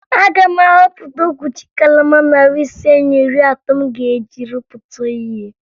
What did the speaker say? Aga m ahọta okwuchi kalama narị ise na iri atọ m ga-eji rụpụta ihe